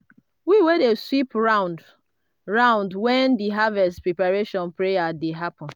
we dey sweep round-round when di harvest preparation prayer dey happen.